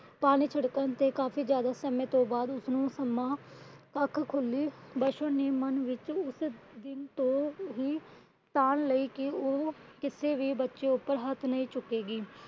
ਪਾਣੀ ਛਿੜਕਣ ਤੋਂ ਕਾਫੀ ਜਿਆਦਾ ਸਮੇ ਤੋਂ ਬਾਅਦ ਉਸ ਨੂੰ ਸੁਣਨਾ ਅੱਖ ਖੁੱਲੀ ਪਾਸ਼ੋ ਨੇ ਮਨ ਵਿੱਚ ਉਸੇ ਦਿਨ ਤੋਂ ਹੀ ਧਾਰ ਲਈ ਕੀ ਉਹ ਕਿੱਸੇ ਵੀ ਬੱਚੇ ਉੱਪਰ ਹੱਥ ਨਹੀਂ ਚੁੱਕੇਗੀ।